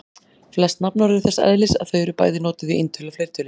Flest nafnorð eru þess eðlis að þau eru bæði notuð í eintölu og fleirtölu.